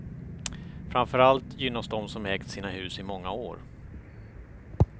Framför allt gynnas de som ägt sina hus i många år.